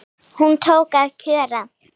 Hún tók að kjökra.